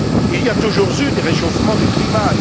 Il y a toujours eu des réchauffements du climat.